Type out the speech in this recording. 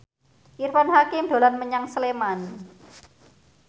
Irfan Hakim dolan menyang Sleman